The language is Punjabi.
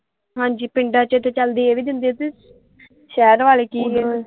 ਹਾਂਜੀ ਪਿੰਡਾਂ ਚ ਤੇ ਚੱਲ ਦੇ ਵੀ ਦਿੰਦੇ ਤੇ ਸ਼ਹਿਰ ਵਾਲੇ ਚੀਜ਼।